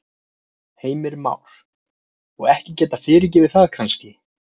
Heimir Már: Og ekki geta fyrirgefið það kannski?